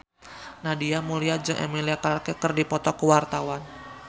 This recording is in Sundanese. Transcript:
Nadia Mulya jeung Emilia Clarke keur dipoto ku wartawan